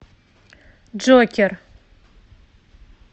джокер